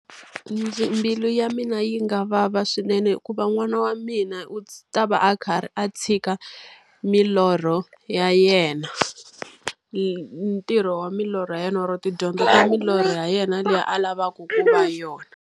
Mbilu ya mina yi nga vava swinene hikuva n'wana wa mina u ta va a karhi a tshika milorho ya yena. Ntirho wa milorho ya yena or-o tidyondzo ka milorho ya yena leyi a lavaka ku va yona.